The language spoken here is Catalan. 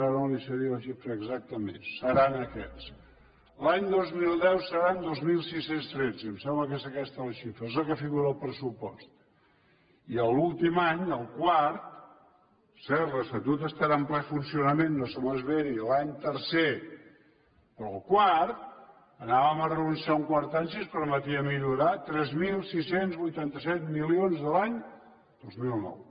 ara no li sé dir la xifra exactament seran aquests l’any dos mil deu seran dos mil sis cents i tretze em sembla que és aquesta la xifra és la que figura al pressupost i l’últim any el quart per cert l’estatut estarà en ple funcionament no se m’esveri l’any tercer però havíem de renunciar a un quart any si ens permetia millorar tres mil sis cents i vuitanta set milions de l’any dos mil nou